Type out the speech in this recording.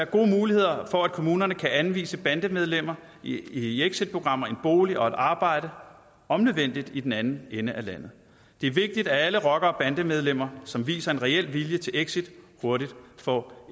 gode muligheder for at kommunerne kan anvise bandemedlemmer i exitprogrammer en bolig og et arbejde om nødvendigt i den anden ende af landet det er vigtigt at alle rockere og bandemedlemmer som viser en reel vilje til exit hurtigt får